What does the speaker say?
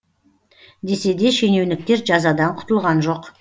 десе де шенеуніктер жазадан құтылған жоқ